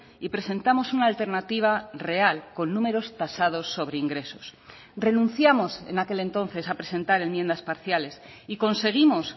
y presentamos una alternativa real con números tasados sobre ingresos renunciamos en aquel entonces a presentar enmiendas parciales y conseguimos